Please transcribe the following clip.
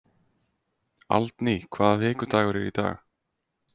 Aldný, hvaða vikudagur er í dag?